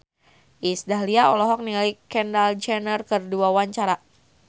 Iis Dahlia olohok ningali Kendall Jenner keur diwawancara